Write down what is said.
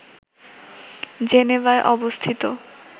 জেনেভায় অবস্থিত